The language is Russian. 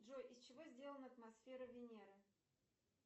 джой из чего сделана атмосфера венеры